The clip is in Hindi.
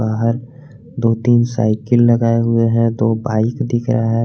बाहर दो तीन साइकिल लगाए हुए हैं दो बाइक दिख रहा है।